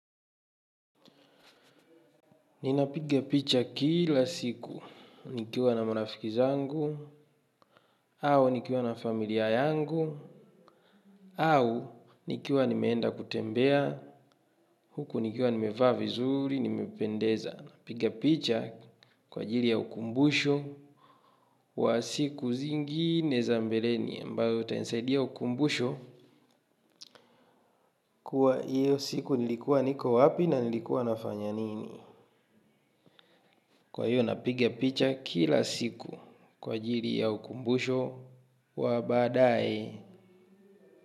Ninapigapicha kila siku. Nikiwa na marafiki zangu, au nikiwa na familia yangu, au nikiwa nimeenda kutembea, huku nikiwa nimevaa vizuri, nimependeza. Napigapicha kwa jiri ya ukumbushu wa siku zingi nezambele ni ambayo utanisaidia ukumbusho kuwa iyo siku nilikuwa niko wapi na nilikua nafanya nini. Kwahiyo napiga picha kila siku kwa ajiri ya ukumbusho wa baadaye.